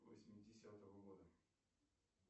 восьмидесятого года